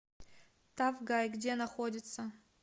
тафгай где находится